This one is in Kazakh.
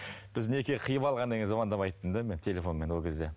біз неке қиып алғаннан кейін звондап айттым да мен телефонмен ол кезде